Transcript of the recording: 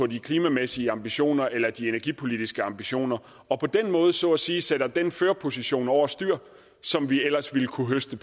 de klimamæssige ambitioner eller de energipolitiske ambitioner og på den måde så at sige sætter den førerposition over styr som vi ellers ville kunne høste